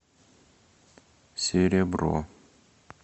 серебро